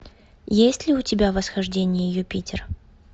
есть ли у тебя восхождение юпитер